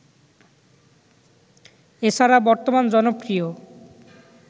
এছাড়া বর্তমান জনপ্রিয়